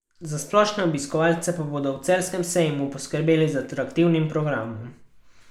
Za splošne obiskovalce pa bodo v Celjskem sejmu poskrbeli z atraktivnim programom.